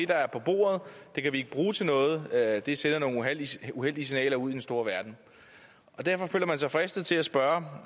der er på bordet kan vi ikke bruge til noget og at det sender nogle uheldige signaler ud i den store verden derfor føler man sig fristet til at spørge